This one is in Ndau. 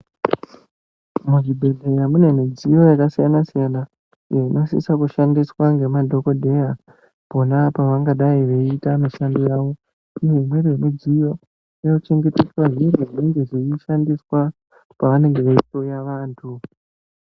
Muzvibhehlera mune midziyo yakasiyana-siyana iyo inosisa kushandiswa ngemadhokodheya pona pavangadei veiita mishando yawo uye imweni yemidziyo inochengeteswa zvinhu zvinenge zveishandiswa pavanenge veihloya vantu.